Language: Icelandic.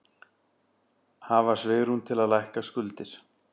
Hafa svigrúm til að lækka skuldir